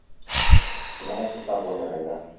আমার তো তা মনে হয় না।